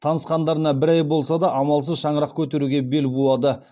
танысқандарына бір ай болса да амалсыз шаңырақ көтеруге бел буады